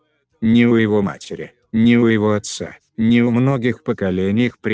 ни у его матери ни у его отца ни у многих поколений их предков не было и признаков изнеженности